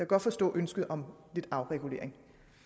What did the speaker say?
godt forstå ønsket om lidt afregulering